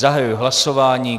Zahajuji hlasování.